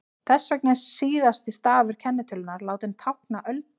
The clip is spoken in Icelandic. þess vegna er síðasti stafur kennitölunnar látinn tákna öldina